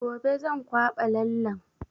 Gobe zan kwaɓa lallen